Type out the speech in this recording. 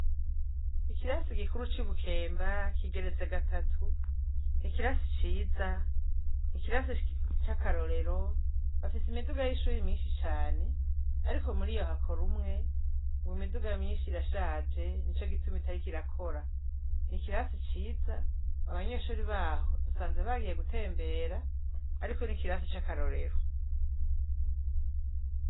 Ikirasi gikuru c'ibukemba kigeretse gatatu ni ikirasi ciza ikirasi c'akarorero bafise imiduga y'ishuri myinshi cane, ariko muri yohakora umwe ngo imiduga myinshi ira shaje ni co gituma itari kirakora ni ikirasi ciza abanyeshori baho sanze bagiye gutembera, ariko n'ikirasi c'akarorero.